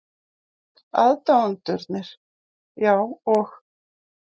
Aðdáendurnir, já, og?